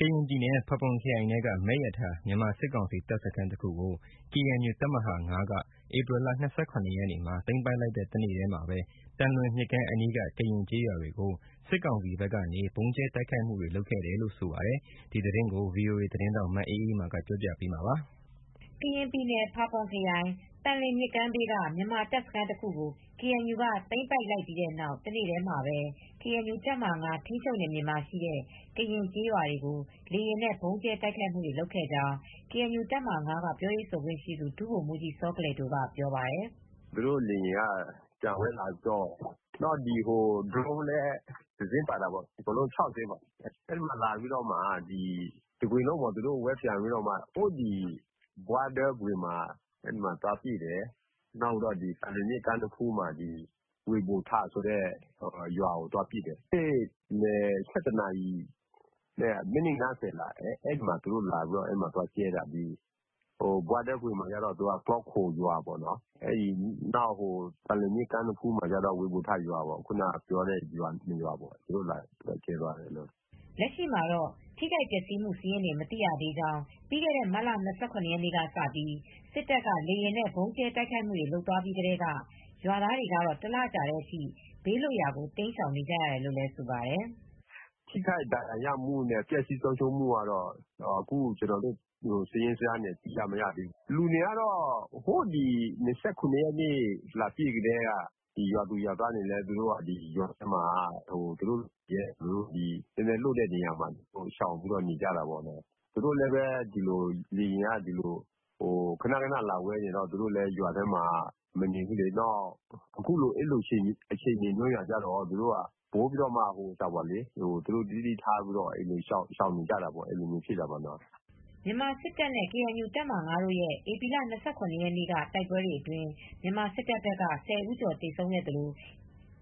ကရင်ပြည်နယ်၊ ဖာပွန်ခရိုင်ထဲက မယ့်ရထာ မြန်မာစစ်ကောင်စီတပ်စခန်းတခုကို ကေအန်ယူတပ်မဟာ(၅)က ဧပြီလ၂၇ရက်နေမှာ သိမ်းပိုက်လိုက်တဲ့ တနေ့ တည်းမှာပဲ သံလွင်မြစ်ကမ်းအနီးက ကရင်ကျေးရွာတွေကို စစ်ကောင်စီဘက်က ဗုံးကြဲ တိုက်ခိုက်မူ လုပ်ခဲ့တယ်လို့ ဆိုပါတယ်။ ဒီသတင်းကို ဗွီအိုအေသတင်းထောက် မအေးအေးမာက ပြောပြပေးမှာပါ။ ကရင်ပြည်နယ်၊ ဖာပွန်ခရိုင် ၊ သံလွင်မြစ်ကမ်းဘေးက မြန်မာတပ်စခန်းတခုကို ကေအန်ယူက သိမ်းပိုက်လိုက်ပြီးတဲ့နောက် တနေ့တည်းမှာပဲ ကေအန်ယူ တပ်မဟာ(၅) ထိမ်းချုပ်နယ်မြေမှာရှိတဲ့ ကရင်ကျေးရွာတွေကို လေယာဉ်နဲ့ ဗုံးကြဲတိုက်ခိုက်မူလုပ်ခဲ့ကြောင်း ကေအန်ယူ တပ်မဟာ၅ က ပြောရေးဆိုခွင့်ရှိသူ ဒုဗိုလ်မူးကြီးစောကလယ်ဒိုက ပြောပါတယ်။ "သူတိုလေယာဉ် ပျံဝဲလာပြီး ဒရုန်းလည်းတစင်းလည်းပါတယ်။ အကုန်လုံး ၆စင်းပေါ့ ၊ သူတို့ ဝဲပျံလာပြီး ဘွားတဲဂွင်မှာ သွားပစ်တယ်။ သံလွင်မြစ်နဖူးက ဝေဗိုထာဆိုတဲ့ရွာကို လာပစ်တယ်။ နေ့လည် ၁၁နာရီနဲ့ မိနစ် ၅၀လောက်မှာ သူတို့ သွားကြဲတာ။ ဘွားထဲဂွင်က ကလောခိုရွာပေါ့နော် ၊ သံလွင်မြစ်ကမ်းနားမှာကတော့ ဝေဗိုထာရွာပေါ့။” လက်ရှိမှတော့ ထိခိုက်ပျက်စီးမူ စာရင်းတွေကို မသိရသေးကြောင်း ပြီးခဲ့တဲ့မတ်လ၂၇ ရက်နေ့ကစပြီး စစ်တပ်က လေယာဉ်နဲ့ ဗုံးကြဲတိုက်ခိုက်မူတွေလုပ်သွားပြီးကတည်းက ရွာသားတွေကတော့ တလကြာတဲ့အထိ ဘေးလွတ်ရာကို တိမ်းရှောင်နေကြတယ်လို့ ဆိုပါတယ်။ “ ထိခိုက် ဒါဏ်ရာရမူနဲ့ ပျက်ဆီးဆုံးရှုံးမူကတော့ စာရင်းအတိအကျမရသေးဘူး ။ လူတွေက ဟိုး၂၇ ရက်နေ့ လာပစ်ကတည်းက ရွာသူရွာသားတွေကလည်း ရွာထဲမှာ ဘေးလွတ်တဲ့နေရာမှာ သွားနေကြတာ။ သူတို့လည်း လေယာဉ်က ခဏခဏလာဝဲပျံနေကတည်းက ရွာထဲမနေကြဘူး။ အခုလိုအခြေအနေမျိုးမှာပိုပြီး သတိနဲ့ နေကြတာပေါ့။” မြန်မာစစ်တပ်နဲ့ KNU တပ်မဟာ၅ရဲ့ ဧပြီလ၂၇ရက်နေ့က တိုက်ပွဲတွေအတွင်း မြန်မာစစ်တပ်ဘက်က ၁၀ဦးကျော် သေဆုံးသလို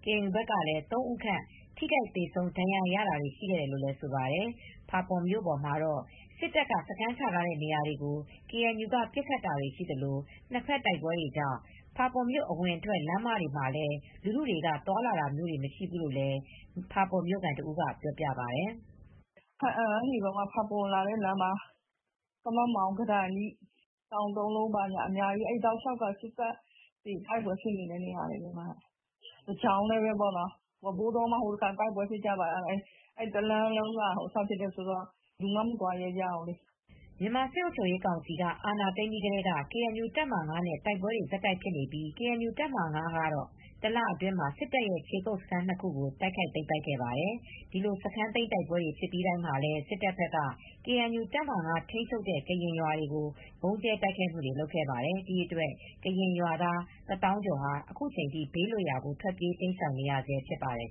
ကေအန်ယူဘက်ကလည်း ၃ဦးခန့် ထိခိုက်သေဆုံးတာ ဒဏ်ရာရတာတွေ ရှိခဲ့တယ်လို့ ဆိုပါတယ်။ဖာပွန်မြို့ပေါ်တွေမှာတော့ စစ်တပ်ကစခန်းချထာတဲ့ နေရာတွေကို ကေအန်ယူက ပစ်ခတ်တာတွေရှိသလို နှစ်ဖက်တိုက်ပွဲတွေကြောင့် ဖာပွန်မြို့ အဝင်အထွက်လမ်း ပေါ်တွေလည်း လူထုတွေကသွားလာတာမျိုးမရှိဘူးလို့လည်း ဖာပွန်မြိုခံတဦးကပြောပြပါတယ်။ “ဘားအံကနေ ဖာပွန်ကိုလာတဲ့လမ်းမှာ ကမမောင်း၊ကတိုင်ထိ ၊ တောင်သုံးလုံး အဲဒီ တောက်လျောက်က စစ်တပ်တွေတိုက်ပွဲဖြစ်နေတဲ့နေရာတွေ။ ပဲဝါးဘိုးတောမှာ ဟိုတခေါက်က တိုက်ပွဲဖြစ်နေတယ်ဆိုတော့ အဲဒီလမ်းတွေကဘယ်သူမှ မသွားရဲကြဘူးလေ။” မြန်မာစစ်အုပ်ချုပ်ရေးကောင်စီက အာဏာသိမ်းပြီးကတည်းက KNU တပ်မဟာ ၅နဲ့ တိုက်ပွဲ ဆက်တိုက်ဖြစ်နေပြီး ကေအန်ယူတပ်မဟာ(၅) က တလအတွင်း စစ်တပ်ရဲ့ ခြေကုတ်စခန်း၂ခုကို တိုက်ခိုက်သိမ်းပိုက်ခဲ့ပါတယ်။ ဒီလိုစခန်းသိမ်းတိုက်ပွဲတွေဖြစ်ပြီးတိုင်းမှာလည်း စစ်တပ်ဘက်က ကေအန်ယူတပ်မဟာ(၅)ထိန်းချုပ်တဲ့ ကရင်ရွာတွေကို ဗုံးကြဲတိုက်ခိုက်မူတွေလုပ်ခဲ့ပါတယ်။ ဒီအတွက် ကရင်ရွာသားတသောင်းကျော်ဟာ အခုချိန်ထိ ဘေးလွတ်ရာကို ထွက်ပြေးတိမ်းရှောင် နေဆဲဖြစ်ပါတယ်